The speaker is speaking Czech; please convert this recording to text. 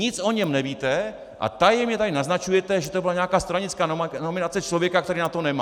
Nic o něm nevíte a tajemně tu naznačujete, že to byla nějaká stranická nominace člověka, který na to nemá.